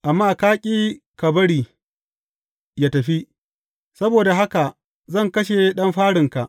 Amma ka ƙi ka bari yă tafi, saboda haka zan kashe ɗan farinka.’